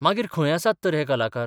मागीर खंय आसात तर हे कलाकार?